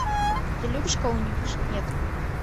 ты любишь кого нибудь нет